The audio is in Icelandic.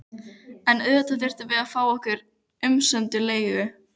En auðvitað þurftum við að fá okkar umsömdu leigu.